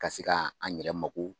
Ka se ka an yɛrɛ mako